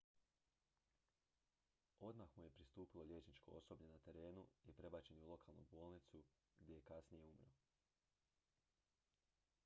odmah mu je pristupilo liječničko osoblje na terenu i prebačen je u lokalnu bolnicu gdje je kasnije umro